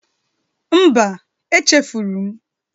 Mba, echefuru m